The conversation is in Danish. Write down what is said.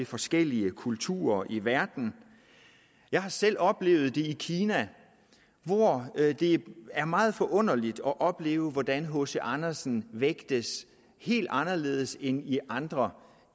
forskellige kulturer i verden jeg har selv oplevet det i kina hvor det er meget forunderligt at opleve hvordan hc andersen vægtes helt anderledes end i andre